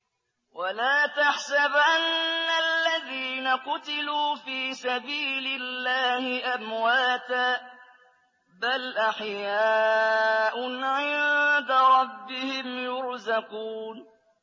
وَلَا تَحْسَبَنَّ الَّذِينَ قُتِلُوا فِي سَبِيلِ اللَّهِ أَمْوَاتًا ۚ بَلْ أَحْيَاءٌ عِندَ رَبِّهِمْ يُرْزَقُونَ